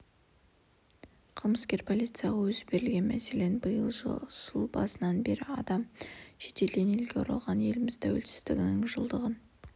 қылмыскер полицияға өзі берілген мәселен биыл жыл басынан бері адам шетелден елге оралған еліміз тәуелсіздігінің жылдығын